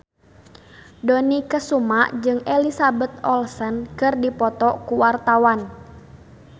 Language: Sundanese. Dony Kesuma jeung Elizabeth Olsen keur dipoto ku wartawan